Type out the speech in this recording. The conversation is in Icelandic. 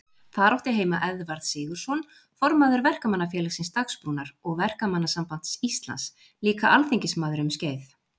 Þar átti heima Eðvarð Sigurðsson, formaður Verkamannafélagsins Dagsbrúnar og Verkamannasambands Íslands, líka alþingismaður um skeið.